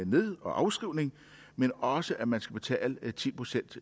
ned og afskrivningen men også at man skal betale ti procent